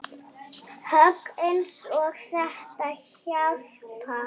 Högg eins og þetta hjálpa